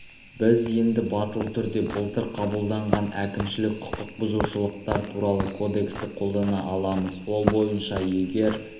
біз енді батыл түрде былтыр қабылданған әкімшілік құқық бұзушылықтар туралы кодексті қолдана аламыз ол бойынша егер